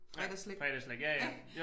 Fredagsslik ik